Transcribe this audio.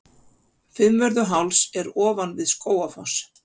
Fimmvörðuháls er ofan við Skógafoss.